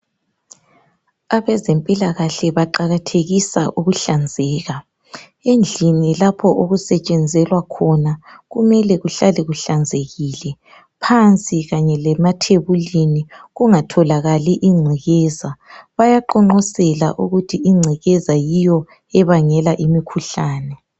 Abezempilakahle baqakathekisa ukuhlanzeka. Endlini lapho okusetshenzelwa khona kumele kuhlale kuhlanzekile, phansi kanye lasemathebulini kungatholakali ingcekekeza, bayaqonqosela ukuthi ingcekeza yiyo ebangela imikhuhlane.